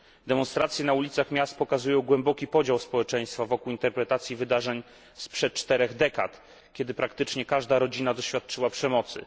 Demonstracje na ulicach miast pokazują głęboki podział społeczeństwa wokół interpretacji wydarzeń sprzed czterech dekad, kiedy praktycznie każda rodzina doświadczyła przemocy.